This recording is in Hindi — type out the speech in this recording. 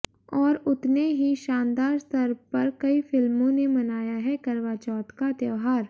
और उतने ही शानदार स्तर पर कई फिल्मों ने मनाया है करवा चौथ का त्योहार